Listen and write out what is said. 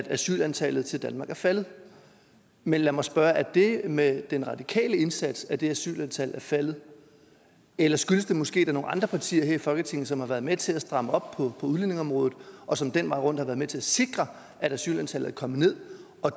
asylantallet til danmark er faldet men lad mig spørge er det med de radikales indsats at asylantallet er faldet eller skyldes det måske nogle andre partier her i folketinget som har været med til at stramme op på udlændingeområdet og som den vej rundt har været med til at sikre at asylantallet er kommet ned og